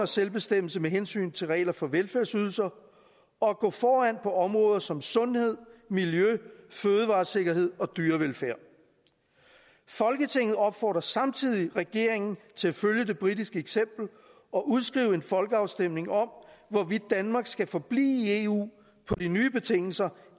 selvbestemmelse med hensyn til regler for velfærdsydelser og at gå foran på områder som sundhed miljø fødevaresikkerhed og dyrevelfærd folketinget opfordrer samtidig regeringen til at følge det britiske eksempel og udskrive en folkeafstemning om hvorvidt danmark skal forblive i eu på de nye betingelser